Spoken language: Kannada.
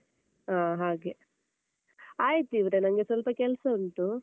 ಆ ಹಾಗೆ ಆಯ್ತ್ ಇವ್ರೆ ನನ್ಗೆ ಸ್ವಲ್ಪ ಕೆಲ್ಸ ಉಂಟೂ.